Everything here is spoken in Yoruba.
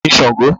Who is Sàngo?